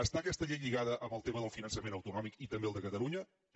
està aquesta llei lligada amb el tema del finançament autonòmic i també al de catalunya també